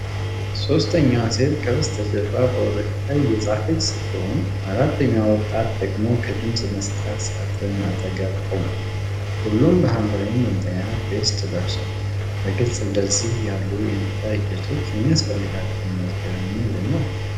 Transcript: ሦስተኛዋ ሴት ከበስተጀርባ በወረቀት ላይ እየጻፈች ስትሆን፤ አራተኛው ወጣት ደግሞ ከድምጽ መስጫ ሳጥን አጠገብ ቆሟል። ሁሉም በሐምራዊ መለያ ቬስት ለብሰዋል። በግልጽ እንደዚህ ያሉ የምርጫ ሂደቶች የሚያስፈልጋቸው መዝገብ ምንድን ነው?